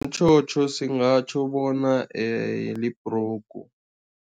Umtjhotjho singatjho bona libhrugu.